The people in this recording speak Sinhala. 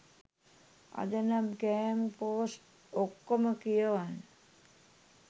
අද නම් කෑම පෝස්ට් ඔක්කොම කියවන්න